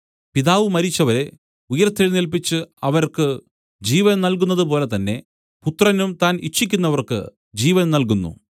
പിതാവ് മരിച്ചവരെ ഉയിർത്തെഴുന്നേല്പിച്ച് അവർക്ക് ജീവൻ നൽകുന്നതുപോലെതന്നെ പുത്രനും താൻ ഇച്ഛിക്കുന്നവർക്ക് ജീവൻ നൽകുന്നു